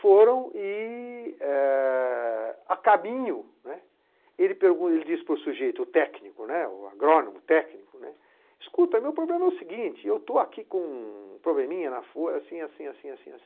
Foram e, é... a caminho, né, ele pegou, ele disse para o sujeito técnico, né, o agrônomo técnico, né, Escuta, o meu problema é o seguinte, eu estou aqui com um probleminha na, assim, assim, assim, assim.